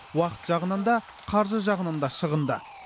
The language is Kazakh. уақыт жағынан да қаржы жағынан да шығынды